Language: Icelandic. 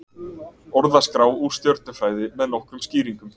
Orðaskrá úr stjörnufræði með nokkrum skýringum.